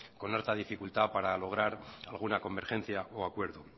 con harta dificultad para lograr alguna convergencia o acuerdo